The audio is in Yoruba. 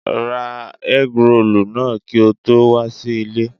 Ra ẹ́grolù náà kí o tó wà sí ilé.